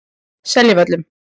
Seljavöllum